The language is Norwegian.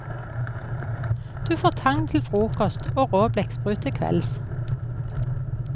Du får tang til frokost og rå blekksprut til kvelds.